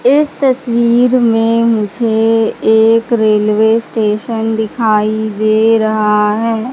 इस तस्वीर में मुझे एक रेलवे स्टेशन दिखाई दे रहा है।